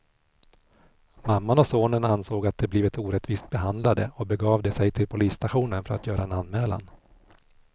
Mamman och sonen ansåg att de blivit orättvist behandlade och begav de sig till polisstationen för att göra en anmälan.